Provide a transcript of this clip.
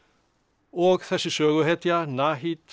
og þessi söguhetja